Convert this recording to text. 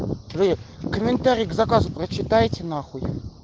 вы комментарий к заказу прочитайте нахуй